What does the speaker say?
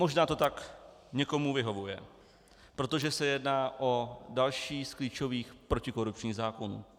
Možná to tak někomu vyhovuje, protože se jedná o další z klíčových protikorupčních zákonů.